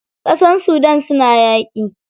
Ƙasar Sudan suna yaƙi.